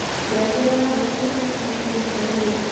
ngengere ya rũcĩũ ĩkĩrĩtwo ĩhĩnda rĩrĩkũ